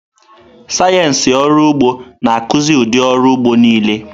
Sayensị ọrụ ụgbọ na-akụzi ụdị ọrụ ugbo niile.